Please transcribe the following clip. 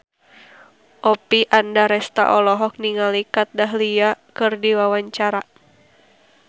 Oppie Andaresta olohok ningali Kat Dahlia keur diwawancara